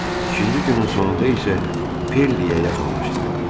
İkinci günün sonunda isə Perliyə yaxınlaşdılar.